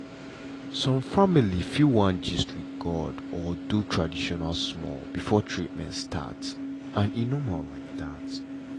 some family fit wan gist with god or do tradition small before treatment start and e normal like that.